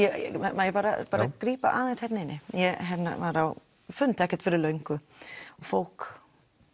má ég bara bara grípa aðeins hérna inn í ég var á fundi ekkert fyrir löngu og fólk